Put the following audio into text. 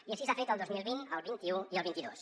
i així s’ha fet el dos mil vint el vint un i el vint dos